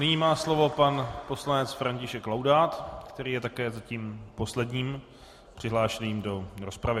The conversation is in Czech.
Nyní má slovo pan poslanec František Laudát, který je také zatím posledním přihlášeným do rozpravy.